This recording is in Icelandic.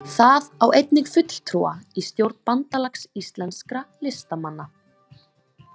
Það á einnig fulltrúa í stjórn Bandalags íslenskra listamanna.